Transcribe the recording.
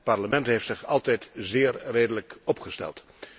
Het Parlement heeft zich altijd zeer redelijk opgesteld.